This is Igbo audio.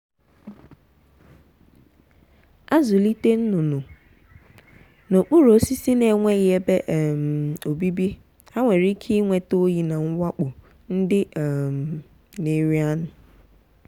azụlite nnụnụ n’okpuru osisi na-enweghị ebe um obibi ha nwere ike ịnweta oyi na mwakpo ndị um na-eri anụ. um